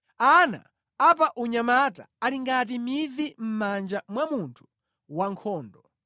Ana a pa unyamata ali ngati mivi mʼmanja mwa munthu wankhondo.